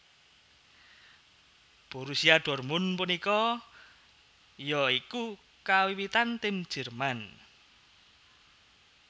Borussia dortmund punika ya iku kawiwitan tim jerman